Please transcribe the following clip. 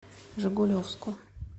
жигулевску